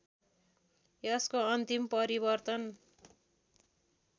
यसको अन्तिम परिवर्तन